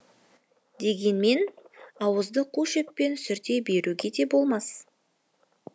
дегенмен ауызды қу шөппен сүрте беруге де болмас